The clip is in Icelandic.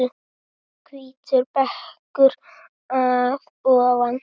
Hvítur bekkur að ofan.